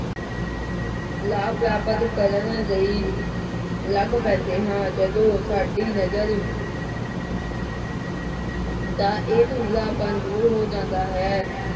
ਲਾਭ ਪ੍ਰਾਪਤ ਕਰਨ ਲਈ ਲੱਗ ਪੈਂਦੇ ਹਾਂ ਜਦੋਂ ਸਾਡੀ ਨਜ਼ਰ ਦਾ ਇਹ ਧੁੰਦਲਾਪਣ ਦੂਰ ਹੋ ਜਾਂਦਾ ਹੈ।